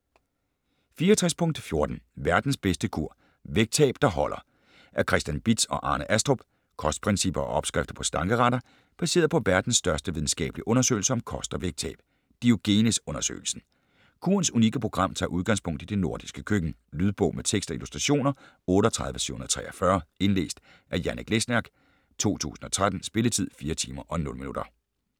64.14 Verdens bedste kur: vægttab der holder Af Christian Bitz og Arne Astrup Kostprincipper og opskrifter på slankeretter, baseret på verdens største videnskabelige undersøgelse om kost og vægttab, Diogenes-undersøgelsen. Kurens unikke program tager udgangspunkt i det nordiske køkken. Lydbog med tekst og illustrationer 38743 Indlæst af Janek Lesniak, 2013. Spilletid: 4 timer, 0 minutter.